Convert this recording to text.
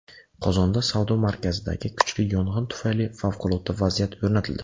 Qozonda savdo markazidagi kuchli yong‘in tufayli favqulodda vaziyat o‘rnatildi.